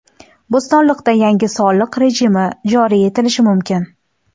Bo‘stonliqda yangi soliq rejimi joriy etilishi mumkin.